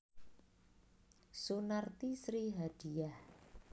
Sunarti Sri Hadiyah